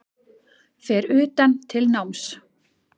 Fer utan til náms